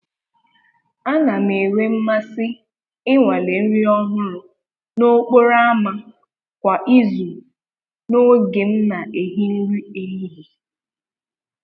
A na m enwe mmasị ịnwale nri ọhụrụ n’okporo ámá kwa izu n’oge m na-ehi nri ehihie.